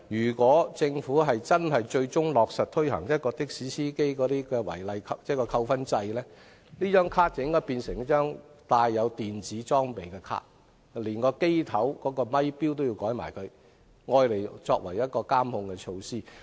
如果政府最終落實推行的士司機違規記分制度，司機證便應變成帶有電子裝備的證件，車頭咪錶亦應更換以作為監控措施。